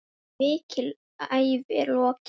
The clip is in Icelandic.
Mikilli ævi er lokið.